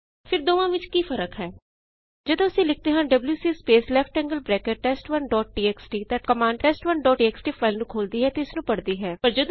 ਫਿਰ ਦੋਵਾਂ ਵਿੱਚ ਫ਼ਰਕ ਕੀ ਹੈ ਜਦੋਂ ਅਸੀਂ ਲਿਖਦੇ ਹਾਂ WC space left angled bracket test one dot TXT ਤਾਂ ਕਮਾੰਡ test1ਟੀਐਕਸਟੀ ਫਾਈਲ ਨੂੰ ਖੋਲਦੀ ਹੈ ਅਤੇ ਇਸਨੂੰ ਪੜਦੀ ਹੈ